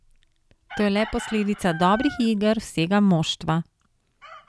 To je le posledica dobrih iger vsega moštva.